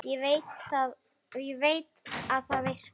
Veit að það virkar.